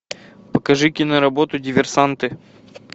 покажи киноработу диверсанты